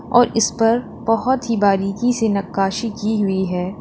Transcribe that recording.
और इस पर बहोत ही बारीकी से नकाशी की हुई है।